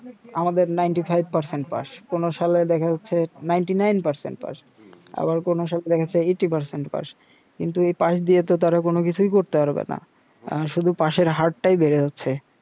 আমাদের পাস কোন সালে দেখা যাচ্ছে যে পাস জি জি আবার কোন সালে দেখা যাচ্ছে পাস কিন্তু এই পাস দিয়ে তো তারা কোন কিছুই করতে পারবেনা আ শুধু পাশের হারটাই বেড়ে যাচ্ছে